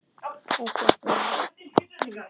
Er þetta mjög til prýði.